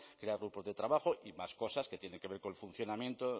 crear grupos de trabajo y más cosas que tienen que ver con el funcionamiento